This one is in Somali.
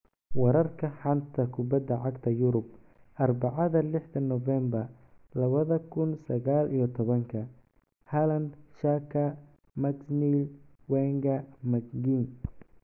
Wararka xanta kubada cagta Yurub Arbacada lixda Novembaar labada kuun sagaal iyo tobanka: Haaland, Xhaka, McNeil, Wenger, McGinn